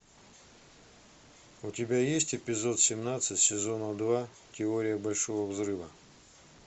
у тебя есть эпизод семнадцать сезона два теория большого взрыва